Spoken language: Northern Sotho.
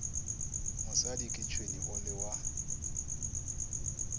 mosadi ke tšhwene o lewa